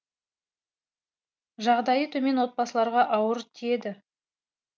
жағдайы төмен отбасыларға ауыр тиеді